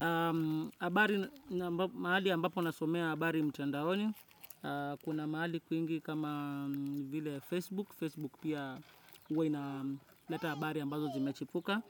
Habari na mahali ambapo nasomea habari mtandahoni, kuna mahali kuingi kama vile Facebook, Facebook pia uwa inaleta habari ambazo zimechipuka,